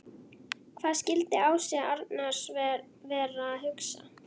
Hvað skildi Ási Arnars vera að hugsa?